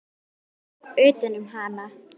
Ég tók utan um hana.